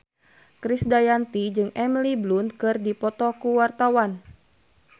Krisdayanti jeung Emily Blunt keur dipoto ku wartawan